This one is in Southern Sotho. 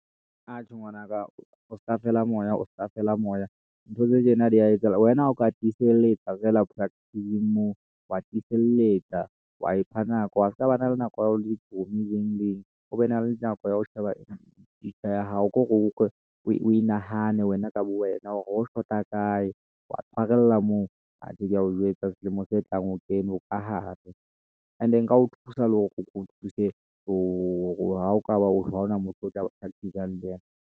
Atjhe, ngwanaka o ska fela moya, o ska fela moya ntho tse tjena diya etsahala. Wena ha o ka tiselletsa feela practice-ng moo, wa tiselletsa wa ipha nako wa ska bana le nako ya di-chommie le eng le eng o be na le nako ya ho sheba future ya hao ko re o ko inahane wena ka bo wena hore ho shota kae wa tshwarella moo atjhe keya o jwetsa selemong se tlang o kene, o kahare and-e nka o thusa le hore keo thuse hore ha o ka ba ore ha ona motho o tla practice-sang le yena.